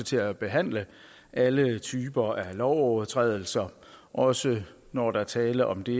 til at behandle alle typer lovovertrædelser også når der er tale om det